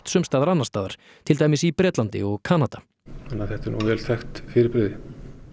sums staðar annars staðar til dæmis í Bretlandi og Kanada þannig að þetta er vel þekkt fyrirbrigði